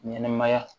Ɲɛnɛmaya